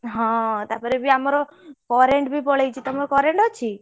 ହଁ ତାପରେ ବି ଆମର current ବି ପଳେଇଛି ତମର current ଅଛି?